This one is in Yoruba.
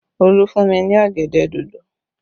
Olu fún mi ní ọ̀gẹ̀dẹ̀ dòdò